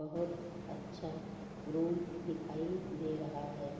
बहुत अच्छा रूम दिखाई दे रहा है।